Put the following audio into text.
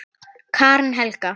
Karen Helga.